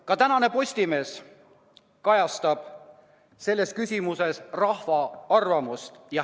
Ka tänane Postimees kajastab selles küsimuses rahva arvamust.